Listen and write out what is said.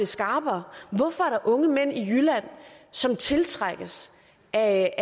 skarpere hvorfor er der unge mænd i jylland som tiltrækkes af